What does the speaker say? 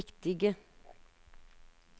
riktige